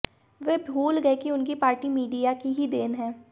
वे भूल गए कि उनकी पार्टी मीडिया की ही देन है